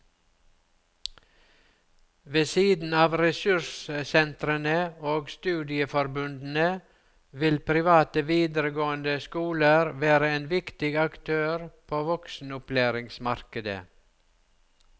Ved siden av ressurssentrene og studieforbundene vil private videregående skoler være en viktig aktør på voksenopplæringsmarkedet.